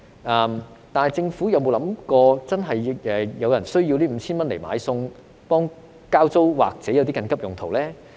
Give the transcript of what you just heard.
可是，政府有否想過有人真的需要這 5,000 元來買菜、交租或作緊急用途呢？